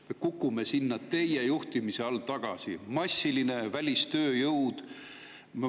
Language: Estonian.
Me kukume sinna teie juhtimise all tagasi: massiline välistööjõud.